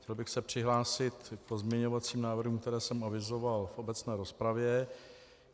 Chtěl bych se přihlásit k pozměňovacím návrhům, které jsem avizoval v obecné rozpravě.